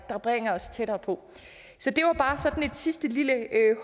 der bringer os tættere på så det var bare sådan et sidste lille